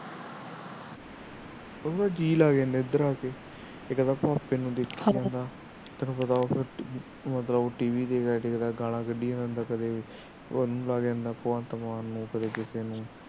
ਉਹਦਾ ਨਾ ਜੀਅ ਲੱਗ ਜਾਂਦਾ ਇੱਦਰ ਆ ਕੇ TV ਦੇਖਦਾ ਹੈ ਗਾਲਾ ਕੱਢੀ ਜਾਂਦਾ ਕਦੇ